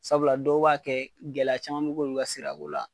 Sabula dɔw b'a kɛ, gɛlɛya caman be kɛ olu ka sira ko la.